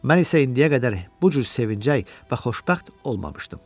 Mən isə indiyə qədər bu cür sevinəcək və xoşbəxt olmamışdım.